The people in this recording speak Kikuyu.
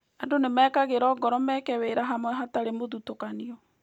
Andũ nĩ mekagĩrũo ngoro meke wĩra hamwe hatarĩ mũthutũkanio.